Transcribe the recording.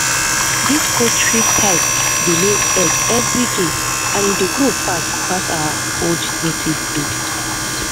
dis poultry type dey lay egg every day and e dey grow fast pass our old native breed.